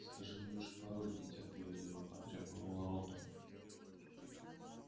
скажи лучше пароль нетерпеливо потребовал рон